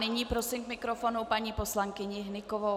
Nyní prosím k mikrofonu paní poslankyni Hnykovou.